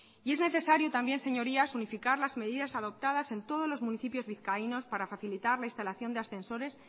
y es necesario también señorías unificar las medidas adoptadas en todos los municipios vizcaínos para facilitar la instalación de ascensores